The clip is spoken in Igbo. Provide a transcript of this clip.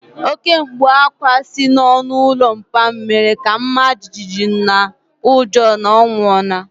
Oké mkpu ákwá si n'ọnụ ụlọ papa m mere ka m mara jijiji n'ụjọ na ọ nwụọla